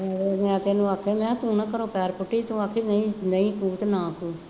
ਮੈਂ ਤੈਨੂੰ ਆਖਿਆ ਮੈਂ ਕਿਹਾ ਤੂੰ ਨਾ ਘਰੋਂ ਪੈਰ ਪੁੱਟੀਂ, ਤੂੰ ਆਖੀਂ ਨਹੀਂ ਨਹੀਂ ਪੁੱਤ ਨਾ